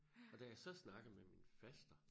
Og da jeg så snakker med min faster